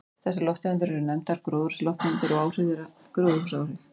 Þessar lofttegundir eru nefndar gróðurhúsalofttegundir og áhrif þeirra gróðurhúsaáhrif.